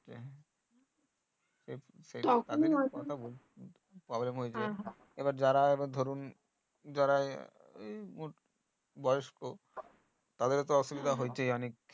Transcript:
এবার যারা আবার ধরুন যারা এই বয়স্ক তাদের তো অসুবিধা হয়েছে অনেক